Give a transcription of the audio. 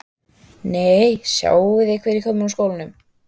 Nei, sjáiði hver er kominn úr skólanum